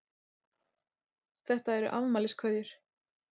Þetta eru afmæliskveðjur.